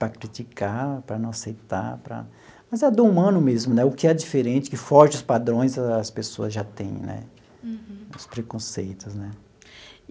para criticar, para não aceitar, para...mas é do humano mesmo, o que é diferente, que foge dos padrões, as pessoas já têm né, os preconceitos né.